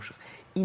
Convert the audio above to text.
Nail olunmuşuq.